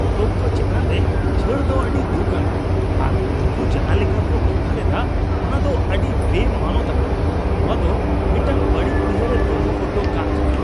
ᱯᱚᱛᱚᱵ ᱠᱚ ᱪᱮᱛᱟᱱ ᱨᱮ ᱪᱷᱟᱹᱲ ᱫᱚ ᱟᱹᱰᱤ ᱫᱩᱠ ᱟᱱᱟᱜ ᱟᱨ ᱩᱱᱠᱩ ᱡᱟᱦᱟᱸ ᱞᱮᱠᱟ ᱠᱚ ᱵᱮᱣᱦᱟᱨ ᱮᱫᱟ ᱚᱱᱟ ᱫᱚ ᱟᱹᱰᱤ ᱵᱮᱼᱢᱟᱱᱚᱛ ᱟᱱᱟᱜ ᱾ ᱱᱚᱶᱟ ᱫᱚ ᱢᱤᱫᱴᱟᱝ ᱵᱟᱹᱲᱤᱡ ᱩᱭᱦᱟᱹᱨᱮ ᱫᱚᱦᱚ ᱦᱚᱴᱚ ᱠᱟᱜ ᱠᱟᱱᱟ ᱾